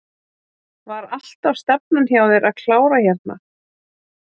Var alltaf stefnan hjá þér að klára hérna?